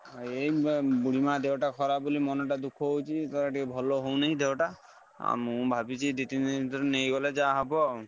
ଏଇ ମେ ବୁଢୀମାଆ ଦେହଟା ଖରାପ ବୋଲି ମନଟା ଦୁଃଖ ହଉଛି ତାର ଟିକେ ଭଲ ହଉନି ଦେହ ଟା ଆଉ ମୁଁ ଭାବିଛି ଏଇ ଦି ତିନି ଦିନି ଭିତରେ ନେଇଗଲେ ଯାହା ହବ ଆଉ।